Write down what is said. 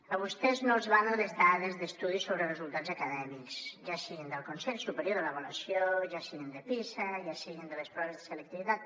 a vostès no els valen les dades d’estudis sobre resultats acadèmics ja siguin del consell superior d’avaluació ja siguin de pisa ja siguin de les proves de selectivitat